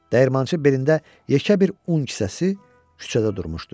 Dəyirmançı belində yekə bir un kisəsi küçədə durmuşdu.